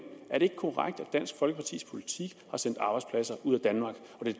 er det korrekt at dansk folkepartis politik har sendt arbejdspladser ud af danmark